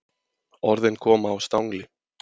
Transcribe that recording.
Orðin koma á stangli.